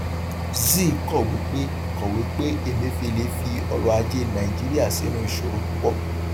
zeal kọwé pé kọwé pé emefiele fi ọrọajé nàìjíríà sínú ìṣòro púpọ